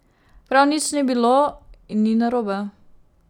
Prav nič ni bilo in ni narobe.